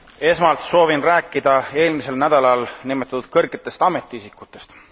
Esmalt soovin rääkida eelmisel nädalal nimetatud kõrgetest ametiisikutest.